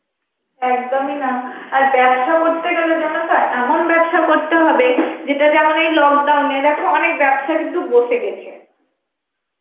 একদমই না. আর ব্যবসা করতে গেলে জানো তো, এমন ব্যবসা করতে হবে যেটা যেমন এই lockdown এ দেখো অনেক ব্যবসা কিন্তু বসে গেছে.